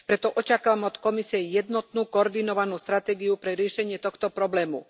Preto očakávam od Komisie jednotnú, koordinovanú stratégiu pre riešenie tohto problému.